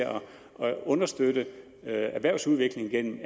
at understøtte erhvervsudviklingen gennem